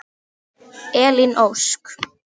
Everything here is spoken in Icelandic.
Elín Ósk.